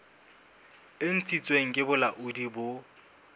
e ntshitsweng ke bolaodi bo